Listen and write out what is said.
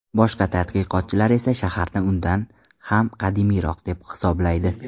Boshqa tadqiqotchilar esa shaharni undan ham qadimiyroq deb hisoblaydi.